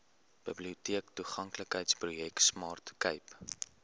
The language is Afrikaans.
biblioteektoeganklikheidsprojek smart cape